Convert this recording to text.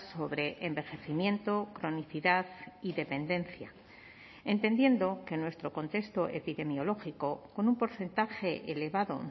sobre envejecimiento cronicidad y dependencia entendiendo que nuestro contexto epidemiológico con un porcentaje elevado